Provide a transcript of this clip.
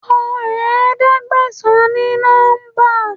Kọ Ẹ̀ẹ́dẹ̀gbẹ̀sán ní nọ́ḿbà!